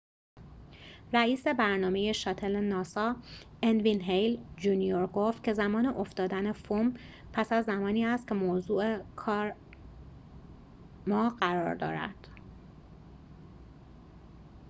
رئیس برنامه شاتل ناسا ان وین هِیل جونیور ‌گفت که زمان افتادن فوم پس از زمانی است که موضوع کار ما قرار دارد